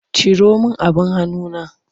Ciro min abin hanuna!